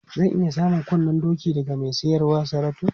Zan iya samun kunnen doki daga mai siyar wa Saratu?